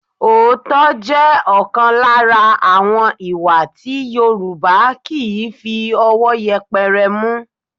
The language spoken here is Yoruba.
Òótọ́ jẹ́ ọ̀kan lára àwọn ìwà tí Yorùbá kì í fi ọwọ́ yẹpẹrẹ mú